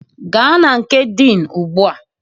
Gaa na nke Dean ugbu a!